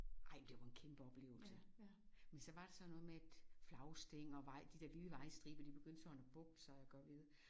Ej men det var en kæmpe oplevelse. Men så var det sådan noget med at flagstænger og vej de der hvide vejstriber de begyndte sådan at bukke sig og gøre ved